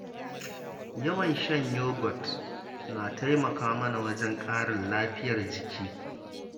Yawan shan yagot na taimaka mana wajen ƙarin lafiyar jiki.